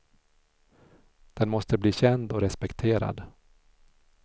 Den måste bli känd och respekterad.